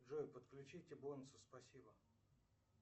джой подключите бонусы спасибо